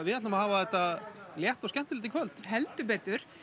við ætlum að hafa þetta létt og skemmtilegt í kvöld heldur betur